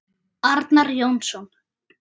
Arnar Jónsson